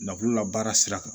Lakulula baara sira kan